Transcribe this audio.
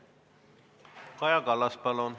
Kaja Kallas, palun!